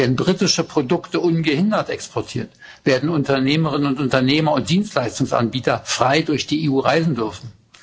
Werden britische Produkte ungehindert exportiert, werden Unternehmerinnen und Unternehmer und Dienstleistungsanbieter frei durch die EU reisen dürfen?